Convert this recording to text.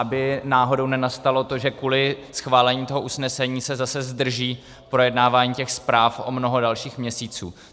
Aby náhodou nenastalo to, že kvůli schválení toho usnesení se zase zdrží projednávání těch zpráv o mnoho dalších měsíců.